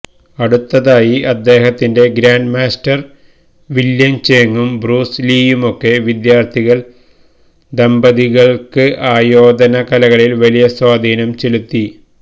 അടുത്തതായി അദ്ദേഹത്തിന്റെ grandmaster William ചേങ്ങും ബ്രൂസ് ലീയുമൊക്കെ വിദ്യാർത്ഥികൾ ദമ്പതികൾക്ക് ആയോധന കലകളിൽ വലിയ സ്വാധീനം ചെലുത്തി